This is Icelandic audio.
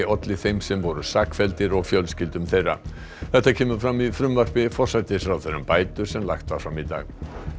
olli þeim sem voru sakfelldir og fjölskyldum þeirra þetta kemur fram í frumvarpi forsætisráðherra um bætur sem lagt var fram í dag